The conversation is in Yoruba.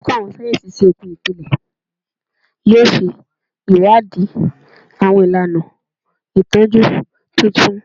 Oluko Awọn sáyẹnsì Iṣoogun Ipilẹ yoo ṣe iwadii awọn ilana itọju tuntun